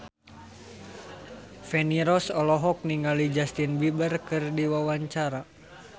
Feni Rose olohok ningali Justin Beiber keur diwawancara